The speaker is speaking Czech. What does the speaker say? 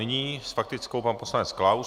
Nyní s faktickou pan poslanec Klaus.